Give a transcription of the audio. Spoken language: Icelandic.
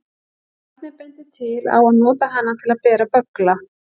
Eins og nafnið bendir til á að nota hana til að bera böggla.